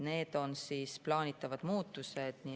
Need on plaanitavad muudatused.